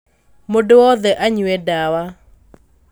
Mũndũ wothe anyue ndawa